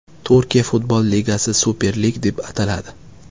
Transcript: Turkiya futbol ligasi Super Lig deb ataladi.